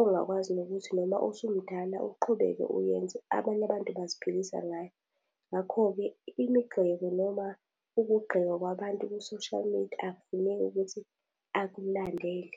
ongakwazi nokuthi noma usumdala uqhubeke uyenze, abanye abantu baziphilisa ngayo. Ngakho-ke imigxeko noma ukugqekwa kwabantu kwi-social media, akufuneki ukuthi akulandele.